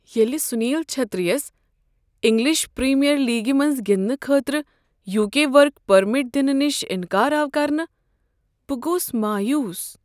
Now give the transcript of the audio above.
ییٚلہ سنیل چھیتری یس English Premier لیگِہ منٛز گندنہٕ خٲطرٕ یوکے ورک پرمٹ دنہٕ نش انکار آو کرنہٕ بہٕ گوس مایوس۔